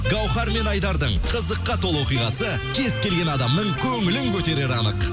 гауһар мен айдардың қызыққа толы оқиғасы кез келген адамның көңілін көтерері анық